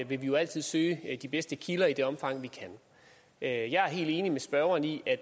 vi jo altid søge de bedste kilder i det omfang vi kan jeg jeg er helt enig med spørgeren i at